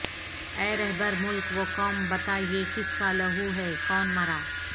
اے رہبر ملک و قوم بتا یہ کس کا لہو ہے کون مرا